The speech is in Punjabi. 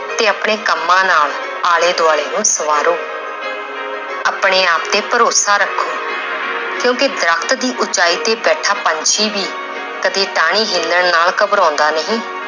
ਤੇ ਆਪਣੇ ਕੰਮਾਂ ਨਾਲ ਆਲੇ ਦੁਆਲੇ ਨੂੰ ਸਵਾਰੋ ਆਪਣੇ ਆਪ ਤੇ ਭਰੋਸਾ ਰੱਖੋ ਕਿਉਂਕਿ ਦਰਖਤ ਦੀ ਉਚਾਈ ਤੇ ਬੈਠਾ ਪੰਛੀ ਵੀ ਕਦੇ ਟਾਹਣੀ ਹਿੱਲਣ ਨਾਲ ਘਬਰਾਉਂਦਾ ਨਹੀਂ